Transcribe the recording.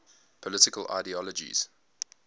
political ideologies